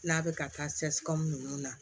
N'a bɛ ka taa ninnu na